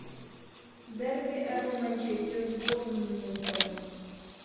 дерби апл манчестер с борнмутом